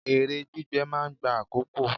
Èrè gbígbé máa ń gba àkókò.